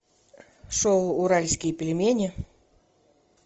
шоу уральские пельмени